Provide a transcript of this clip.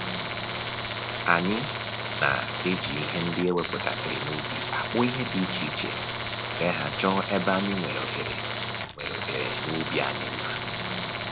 Anyị na-eji ihe ndị e wepụtasịrị n'ubi akpụ ihe dị iche iche were ha chọọ ebe anyị nwere ohere nwere ohere n'ubi anyị mma